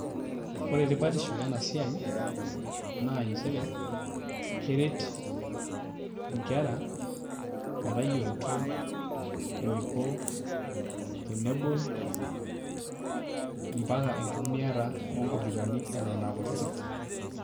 Ore tipatisho ena siai naa nchere keret nkera metayioloito eniko tenebol mpaka enkitumiata onkompyutani eton aa kutitik.